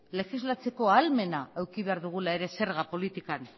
legislatzeko ahalmena eduki behar dugula ere zerga politikan